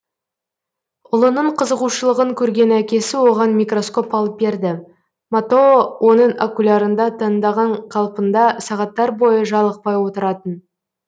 ұлының қызығушылығын көрген әкесі оған микроскоп алып берді мотоо оның окулярында таңданған қалпында сағаттар бойы жалықпай отыратын